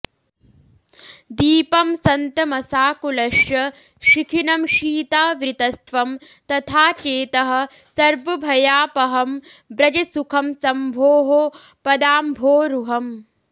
दीपं सन्तमसाकुलश्च शिखिनं शीतावृतस्त्वं तथा चेतः सर्वभयापहं व्रज सुखं शम्भोः पदाम्भोरुहम्